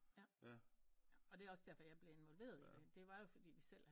Og det er også derfor jeg bliv involveret i det det var jo fordi vi selv